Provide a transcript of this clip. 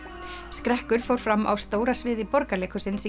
skrekkur fór fram á stóra sviði Borgarleikhússins í